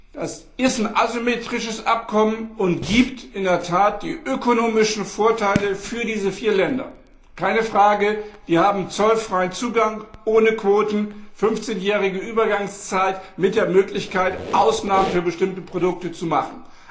Es ist ein asymmetrisches Abkommen, und es gibt in der Tat ökonomische Vorteile für diese vier Länder. Keine Frage, die haben zollfreien Zugang ohne Quoten, eine 15 jährige Übergangszeit mit der Möglichkeit, Ausnahmen für bestimmte Produkte zu machen.